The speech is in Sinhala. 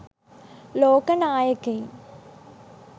ලෝක නායකයින්